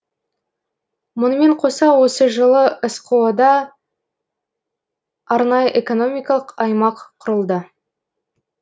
мұнымен қоса осы жылы сқо да арнайы экономикалық аймақ құрылды